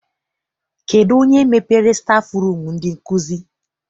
Kedụ onye mepere stafụrum ndị nkụzi?